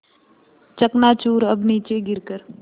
चकनाचूर अब नीचे गिर कर